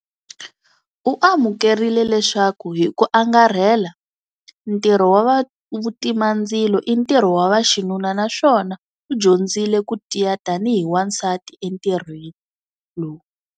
U amukerile leswaku hi ku angarhela ntirho wa vutimandzilo i ntirho wa vaxinuna naswona u dyondzile ku tiya tanihi wansati entirhweni lowu.